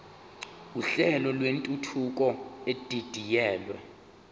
uhlelo lwentuthuko edidiyelwe